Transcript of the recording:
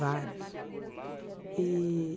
Vários e